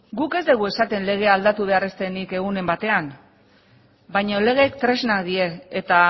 guk ez dugu esaten legea aldatu behar ez denik egunen batean baina legeak tresnak dira eta